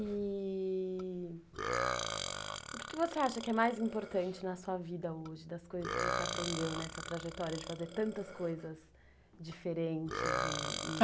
E... o que você acha que é mais importante na sua vida hoje, das coisas que você aprendeu nessa trajetória de fazer tantas coisas diferentes? e e